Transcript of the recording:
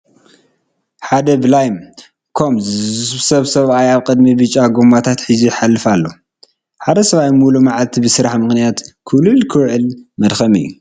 ሓደ ብላይ ኮማ ዝስብስብ ሰብኣይ ኣብ ኢድ ብጫ ጐማታት ሒዙ ይሓልፍ ኣሎ፡፡ ሓደ ሰብ ሙሉእ መዓልቱ ብስራሕ ምኽንያት ኩልል ክውዕል መድከሚ እዩ፡፡